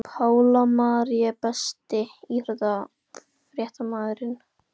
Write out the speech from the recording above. Pála Marie Besti íþróttafréttamaðurinn?